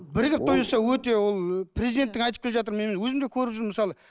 бірігіп той жасау өте ол президент те айтып келе жатыр мен өзім де көріп жүрмін мысалы